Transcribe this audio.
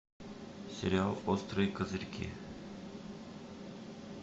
сериал острые козырьки